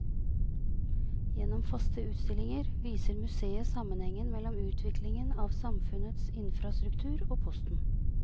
Gjennom faste utstillinger viser museet sammenhengen mellom utviklingen av samfunnets infrastruktur og posten.